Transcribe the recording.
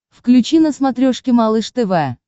включи на смотрешке малыш тв